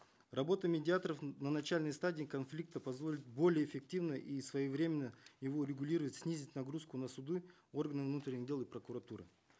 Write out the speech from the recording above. работа медиаторов на начальной стадии конфликта позволит более эффективно и своевременно его регулировать снизить нагрузку на суды органы внутренних дел и прокуратуры